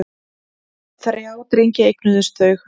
Þrjá drengi eignuðust þau.